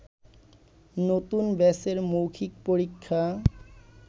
নতুন ব্যাচের মৌখিক পরীক্ষা